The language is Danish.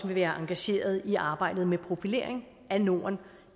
være engageret i arbejdet med profilering af norden